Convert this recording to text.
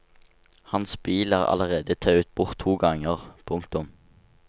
Hans bil er allerede tauet bort to ganger. punktum